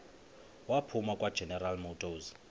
waphuma kwageneral motors